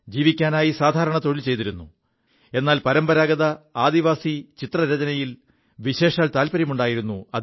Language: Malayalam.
ജീവിക്കാനായി സാധാരണ തൊഴിൽ ചെയ്തിരുു എാൽ പരമ്പരാഗത ആദിവാസി ചിത്രരചനയിൽ വിശേഷതാത്പര്യമുണ്ടായിരുു